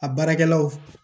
A baarakɛlaw